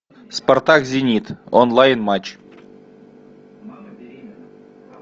спартак зенит онлайн матч